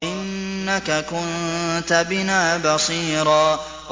إِنَّكَ كُنتَ بِنَا بَصِيرًا